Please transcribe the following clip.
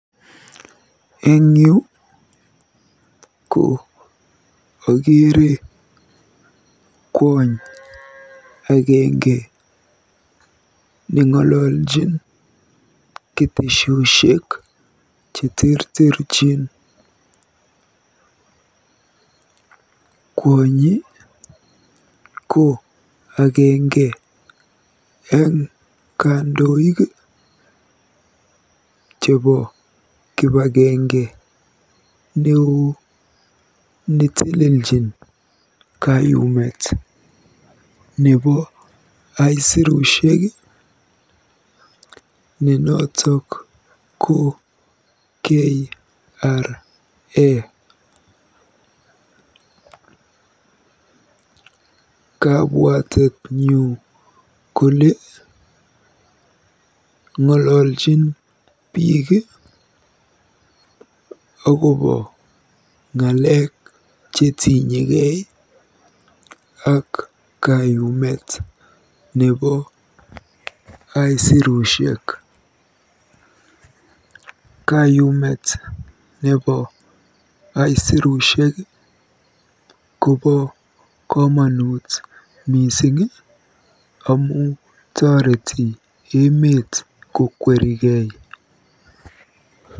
Eng yu ko akeere kwony agenge neng'oljin ketesioshek cheterterchin. Kwonyi ko agenge eng kandoik chebo kipagenge neoo neteleljin kayumet nebo aisirusiek ne noto ko KRA. Kabwatenyu kole ng'ololjin biik akobo ng'alek chetinyegei ak lipanetab aisirushek.